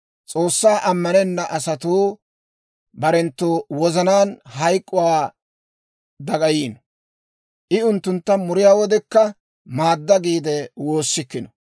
«S'oossaa ammanenna asatuu barenttu wozanaan hank'k'uwaa dagayiino; I unttuntta muriyaa wodekka, maadda giide woossikkino.